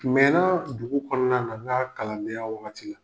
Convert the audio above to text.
Mɛna dugu kɔnɔna na n ka kalandenya wagati la